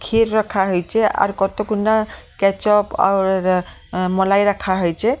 ক্ষীর রাখা হইছে আর কতগুনা কেচাপ আর মলাই রাখা হইছে।